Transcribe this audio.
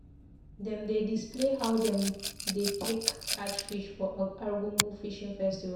Dem dey display how dem dey take catch fish for Argungu Fishing Festival.